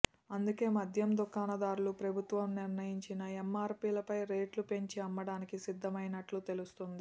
అందుకే మద్యం దుకాణదారులు ప్రభుత్వం నిర్ణయించిన ఎమ్మార్పీలపై రేట్లు పెంచి అమ్మడానికి సిద్ధమైనట్లు తెలుస్తోంది